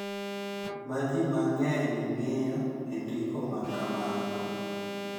Ma ji mang’eny ng’iyo e ndiko ma kamago: